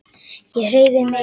Ég hreyfi mig ekki.